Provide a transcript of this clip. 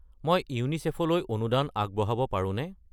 মই ইউনিচেফ লৈ অনুদান আগবঢ়াব পাৰোনে?